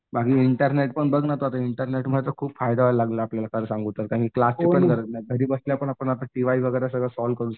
बाकी इंटरनेट पण बघ ना तू इंटरनेट पण खूप फायदा व्हायला लागला खरं सांगू तर घरी बसल्या आता आपण टीवाय सॉल्व करू शकतो.